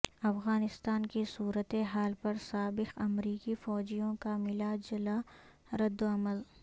افغانستان کی صورت حال پر سابق امریکی فوجیوں کا ملا جلا ردعمل